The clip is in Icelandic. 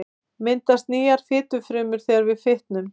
Myndast nýjar fitufrumur þegar við fitnum?